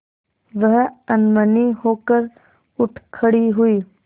वह अनमनी होकर उठ खड़ी हुई